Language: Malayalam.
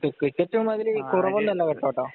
ക്രിക്കറ്റും അതില് കുറവൊന്നുമല്ല കേട്ടോ.